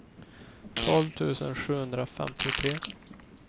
tolv tusen sjuhundrafemtiotre